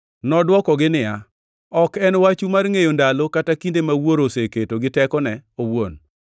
Nodwokogi niya, “Ok en wachu mar ngʼeyo ndalo kata kinde ma Wuoro oseketo gi tekone owuon.